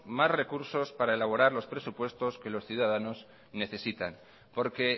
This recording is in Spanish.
más recursos para elaborar los presupuestos que los ciudadanos necesitan porque